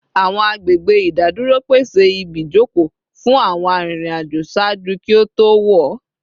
Awọn agbegbe idaduro pese ibijoko fun awọn aririn ajo ṣaaju ki o to wọ